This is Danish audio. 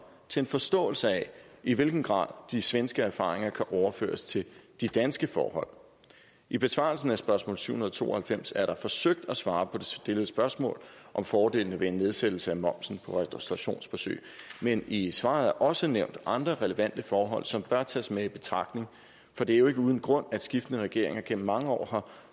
til en forståelse af i hvilken grad de svenske erfaringer kan overføres til de danske forhold i besvarelsen af spørgsmål syv hundrede og to og halvfems er der forsøgt at svare på det stillede spørgsmål om fordelene ved en nedsættelse af momsen på restaurationsbesøg men i svaret er der også nævnt andre relevante forhold som bør tages med i betragtning for det er jo ikke uden grund at skiftende regeringer igennem mange år har